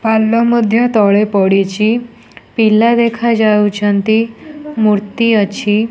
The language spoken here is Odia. ପାଲ ମଧ୍ୟ ତଳେ ପଡିଚି ପିଲା ଦେଖା ଯାଉଛନ୍ତି ମୂର୍ତ୍ତି ଅଛି।